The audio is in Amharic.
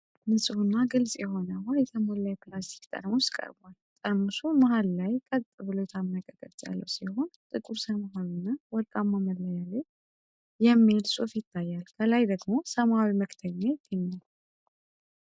ንፁህና ግልጽ የሆነ ውሃ የተሞላ የፕላስቲክ ጠርሙስ ቀርቧል። ጠርሙሱ መሃል ላይ ቀጥ ብሎ የታመቀ ቅርጽ ያለው ሲሆን፣ ጥቁር ሰማያዊና ወርቃማ መለያ ላይ "Gold Water" የሚል ጽሑፍ ይታያል። ከላይ ደግሞ ሰማያዊ መክደኛ ይገኛል።